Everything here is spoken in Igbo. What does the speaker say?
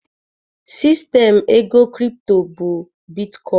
Sistem ego kripto bụ bitkọin